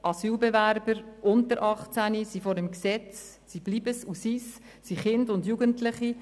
Asylbewerber unter 18 Jahren sind und bleiben vor dem Gesetz Kinder und Jugendliche.